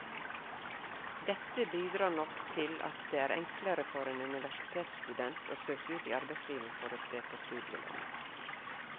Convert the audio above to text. Dette bidrar nok til at det er enklere for en universitetsstudent å søke ut i arbeidslivet for å spe på studielånet.